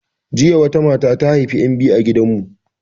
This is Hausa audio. Jiya wata mata ta haifi 'yan biyu a gidan mu